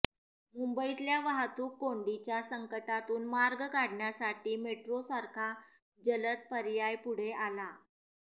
मुंबईतल्या वाहतूक कोंडीच्या संकटातून मार्ग काढण्यासाठी मेट्रोसारखा जलद पर्याय पुढे आला